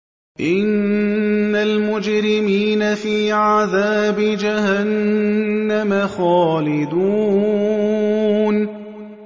إِنَّ الْمُجْرِمِينَ فِي عَذَابِ جَهَنَّمَ خَالِدُونَ